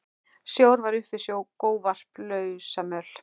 Snjór var upp fyrir skóvarp, lausamjöll.